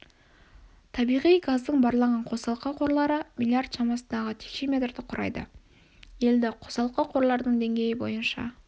табиғи газдың барланған қосалқы қорлары миллиард шамасындағы текше метрді құрайды елді қосалқы қорлардың деңгейі бойынша